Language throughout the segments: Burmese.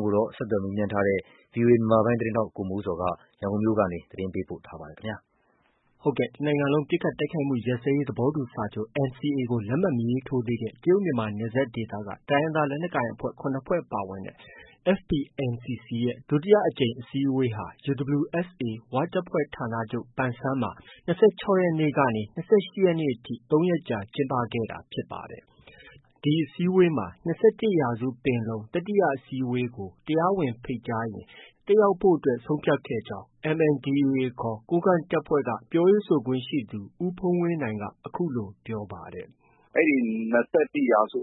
င်းကိုတော့ ဗီအိုအေ မြန်မာပိုင်းရဲ့သတင်းထောက် ကိုမိုးဇော်က တင်ပြထားပါတယ်။ တစ်နိုင်ငံလုံးပစ်ခိုက်တိုက်ခိုက်မှုရပ်စဲရေးသဘောတူစာချုပ် NCA ကို လက်မှတ်မရေးထိုးသေးတဲ့ တရုတ်-မြန်မာနယ်စပ်ဒေသက တိုင်းရင်းသားလက်နက်ကိုင်အဖွဲ့ ၇ဖွဲ့ပါဝင်တဲ့ FPNCC အဖွဲ့ရဲ့ ဒုတိယအကြိမ် အစည်းအဝေးဟာ UWSA ဝတပ်ဖွဲ့ဌာနချုပ် ပန်ဆန်းမှာ ၂၆ရက်နေ့ကနေ ၂၈ရက်နေ့အထိ ၃ရက်ကြာကျင်းပ ခဲ့တာဖြစ်ပါတယ်။ ဒီအစည်းအဝေးမှာ ၂၁ရာစုပင်လုံတတိယအစည်းအဝေး နဲ့ပတ်သက်လို့ တရားဝင်ဖိတ်ကြားရင် တက်ရောက် မှာဖြစ်ကြောင်း MNDAA ခေါ် ကိုးကန့်တပ်ဖွဲ့က ပြောခွင့်ရသူ ဦးဖုန်းဝင်းနိုင်က အခုလို ပြောပါ တယ်။ “အဲဒီ ၂၁ ရာစု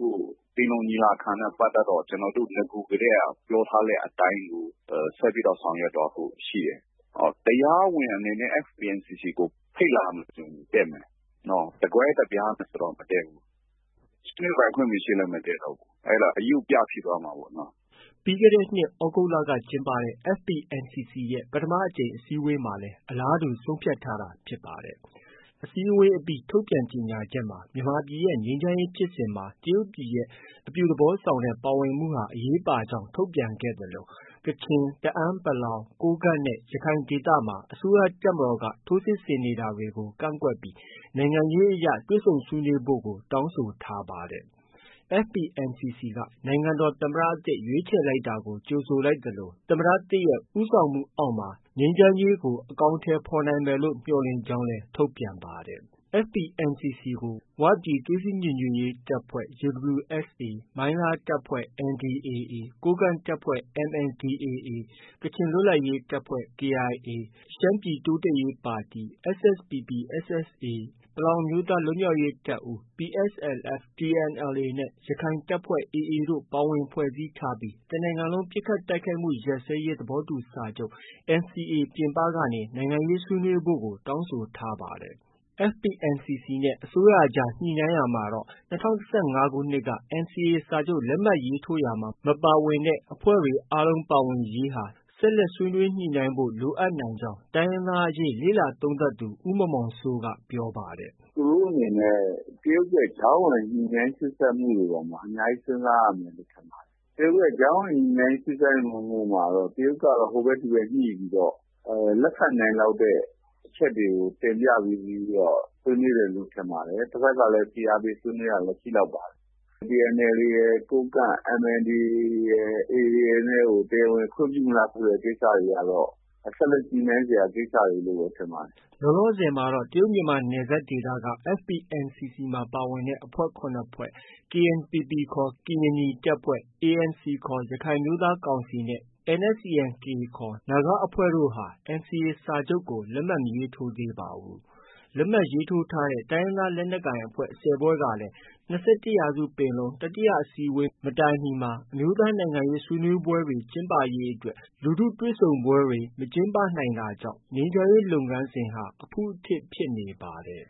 ပင်လုံညီလာခံနဲ့ ပတ်သက်လို့ ကျနော်တို့ နဂိုကတည်းက ပြောထားတဲ့အတိုင်းပဲ ဆက်ပြီး ဆောင်ရွက်သွားဖို့ရှိတယ်။ တရားဝင်အနေနဲ့ FPNCC ကိုဖိတ်လာမယ်ဆိုရင် တက်မယ်။ တကွဲတပြားဆိုရင်တော့ မတက်ဘူး။ ဆွေးနွေးပိုင်ခွင့်မရှိရင်လည်း မတက်တော့ဘူး။ အဲဒါ ရုပ်ပြဖြစ်သွားမှာပေါ့။” ပြီးခဲ့တဲ့နှစ် သြဂုတ်လက ကျင်းပတဲ့ FPNCC ရဲ့ ပထမအကြိမ်အစည်းအဝေးမှာလည်း အလားတူဆုံးဖြတ်ထားတာဖြစ်ပါတယ်။ အစည်းအဝေးအပြီး ထုတ်ပြန်ကြေညာချက်မှာ မြန်မာပြည်ရဲ့ ငြိမ်းချမ်းရေးဖြစ်စဉ်မှာ တရုတ်ပြည်ရဲ့ အပြုသဘောဆောင်တဲ့ ပါဝင်မှုဟာ အရေးပါကြောင်း ထုတ်ပြန်ခဲ့သလို ကချင်၊ တအာင်း(ပလောင်)၊ ကိုးကန့်နဲ့ ရခိုင်ဒေသမှာ အစိုးရတပ်မတော်က ထိုးစစ်ဆင်တာတွေကို ကန့်ကွက်ပြီး နိုင်ငံရေးအရ တွေ့ဆုံဆွေးနွေးဖို့လည်း တောင်းဆိုထားပါတယ်။ FPNCCက နိုင်ငံတော်သမ္မတသစ်ရွေးခြယ်လိုက်တာကို ကြိုဆိုလိုက်သလို သမ္မတသစ်ရဲ့ ဦးဆောင်မှု အောက်မှာ ငြိမ်းချမ်းရေးကို အကောင်အထည်ဖော်နိုင်ဖို့ မျှော်လင့်ကြောင်းလည်း ထုတ်ပြန်ပါတယ်။ FPNCC ကို ဝပြည်သွေးစည်းညီညွတ်ရေးတပ်ဖွဲ့ UWSA၊ မိုင်းလားတပ်ဖွဲ့ NDAA ၊ ကိုးကန့်တပ်ဖွဲ့ MNDAA၊ ကချင်လွတ်လပ်ရေးတပ်ဖွဲ့ KIA၊ ရှမ်းပြည်တိုးတက်ရေးပါတီSSPP/SSA ၊ ပလောင်အမျိုးသား လွတ်မြောက်ရေး တပ်ဦး PSLF/TNLA၊ ရက္ခိုင့်တပ်ဖွဲ့ AA၊ တို့ပါဝင် ဖွဲ့စည်းထားပြီး တစ်နိုင်ငံလုံးပစ်ခတ်တိုက်ခိုက်မှု ရပ်စဲရေး သဘောတူစာချုပ်ပြင်ပကနေ နိုင်ငံရေးဆွေးနွေးဖို့ကို တောင်းဆိုထားပါတယ်။ FPNCC နဲ့ အစိုးရအကြားညှိနှိုင်းရာမှာတော့ ၂၀၁၅ခုနှစ်က NCA စာချုပ်လက်မှတ်ရေးထိုးရာမှာ မပါဝင်သေးတဲ့ အဖွဲ့အားလုံးပါဝင်ရေးဟာ ဆက်လက်ဆွေးနွေးညှိနှိုင်းဖို့ လိုနိုင်ကြောင်း တိုင်းရင်းသားအရေးလေ့လာသုံးသပ်သူ ဦးမောင်မောင်စိုး က ပြောပါတယ်။ “သူတို့အနေနဲ့ တရုတ်ရဲ့ ကြားဝင်ညှိုနှိုင်းစေ့စပ်မှုတွေအပေါ်မှာ အများကြီး စဉ်းစားရမယ်လို့ ထင်ပါတယ်။ တရုတ်ရဲ့ ကြားဝင်ညှိုနှိုင်းမှုတွေအပေါ်မှာ တရုတ်က ဟိုဘက်ဒီဘက် ညှိုပြီးတော့ လက်ခံနိုင်လောက်တဲ့ အချက်တွေကို တင်ပြပြီးတော့ ဆွေးနွေးတယ်လို့ ထင်ပါတယ်။ တဖက်မှာလည်း ဖိအားပေး ဆွေးနွေးတာမျိုး ရှိလောက်ပါတယ်။ TNLA၊ ကိုးကန့် MNDAA ရယ်၊ AA တို့ကို တရားဝင်ခွင့်မပြုတဲ့ကိစ္စတွေကတော့ ဆက်လက်ညှိုနှိုင်းစရာ ကိစ္စတွေလို ထင်ပါတယ်။” လောလောဆည်မှာတော့ တရုတ်မြန်မာနယ်စပ်က အဖွဲ့ ၇ဖွဲ့၊ KNPP ခေါ် ကရင်နီတပ်ဖွဲ့၊ ANC ခေါ်ရခိုင်အမျိုးသားကောင်စီ နဲ့ NSCN-K ခေါ် နာဂအဖွဲ့တို့ကတော့ NCA စာချုပ်ကို လက်မှတ် မထိုးသေးပါဘူး။ လက်မှတ်ရေးထိုးထားတဲံ တိုင်းရင်းသားလက်နက်ကိုင်အဖွဲ့ ၁၀ဖွဲ့ဟာလည်း ၂၁ရာစုပင်လုံ တတိယအစည်းအဝေး မတိုင်မီမှာ အမျိုးသားနိုင်ငံရေးဆွေးနွေးပွဲကျင်းပရေးအတွက် လူထုတွေ့ဆုံပွဲတွေ မကျင်းပနိုင်တာကြောင့် မြန်မာငြိမ်းချမ်းရေးလုပ်ငန်းစဉ်ဟာ အဖုအထစ်တွေ ဖြစ်နေပါတယ်